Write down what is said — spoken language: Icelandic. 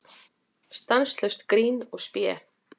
Stanslaust grín og spé.